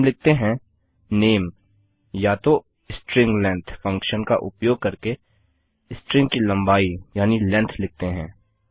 हम लिखते हैं नामे या तो string लेंग्थ फंक्शन का उपयोग करके स्ट्रिंग की लम्बाई यानि लेन्थ लिखते हैं